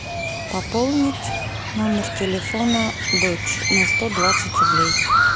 пополнить номер телефона дочь на сто двадцать рублей